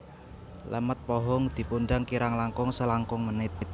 Lemet pohung dipundhang kirang langkung selangkung menit